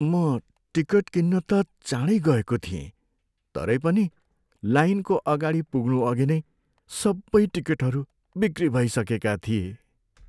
म टिकट किन्न त चाँडै गएको थिएँ तरै पनि लाइनको अगाडि पुग्नअघि नै सबै टिकटहरू बिक्री भइसकेका थिए।